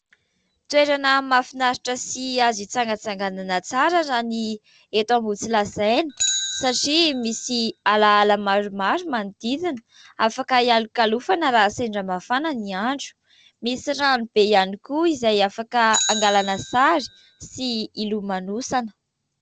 Toerana mahafinaritra sy azo hitsangatsanganana tsara raha ny eto Ambohitsilazaina satria misy alaala maromaro manodidina afaka hialokalofana raha sendra mafana ny andro, misy rano be ihany koa izay afaka hangalana sary sy hilomanosana.